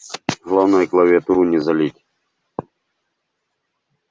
главное клавиатуру не залить